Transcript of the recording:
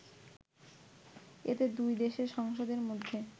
এতে দুই দেশের সংসদের মধ্যে